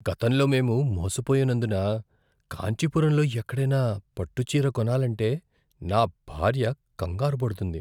గతంలో మేము మోసపోయినందున కాంచీపురంలో ఎక్కడైనా పట్టు చీర కొనాలంటే నా భార్య కంగారుపడుతుంది.